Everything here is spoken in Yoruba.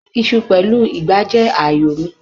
Iṣu pẹ̀lú ìgbá jẹ́ ààyò mi.